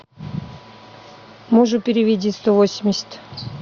мужу переведи сто восемьдесят